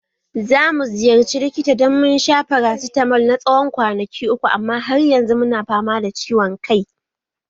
Za mu ziyarci likita dan mun sha farasitamol na tsawon kwanaki uku amma har yanzu muna fama da ciwon kai